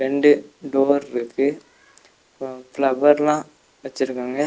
ரெண்டு டோர்ருக்கு ஃபிளவர்லா வச்சருக்காங்க.